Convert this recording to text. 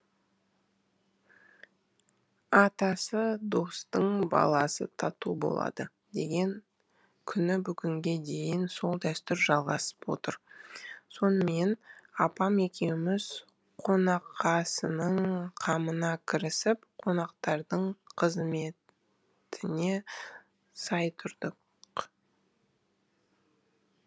атасы достың баласы тату болады деген күні бүгінге дейін сол дәстүр жалғасып отыр сонымен апам екеуміз қонақасының қамына кірісіп қонақтардың қызыметіне сай тұрдық